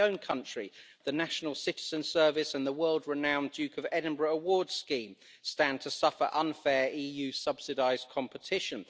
In my own country, the National Citizen Service and the world renowned Duke of Edinburgh Award Scheme stand to suffer unfair EU subsidised competition.